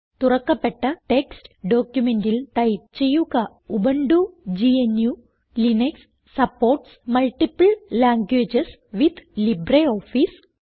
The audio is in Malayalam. തുറക്കപ്പെട്ട ടെക്സ്റ്റ് ഡോക്യുമെന്റിൽ ടൈപ്പ് ചെയ്യുക ഉബുന്റു gnuലിനക്സ് supports multiple languages with LibreOffice